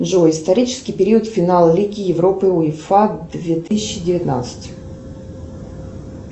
джой исторический период финала лиги уефа две тысячи девятнадцать